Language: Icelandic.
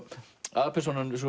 aðalpersónan